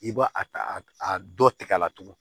I b'a a a dɔ tɛgɛ la tugun